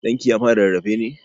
Ɗan ki ya fara rarrafe ne?